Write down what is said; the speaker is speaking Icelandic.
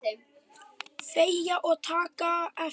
Þegja og taka eftir!